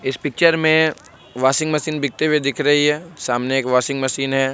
इस पिक्चर में washing machine बिकते हुए दिख रही है| सामने एक वाशिंग मशीन है।